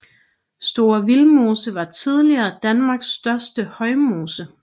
Store Vildmose var tidligere Danmarks største højmose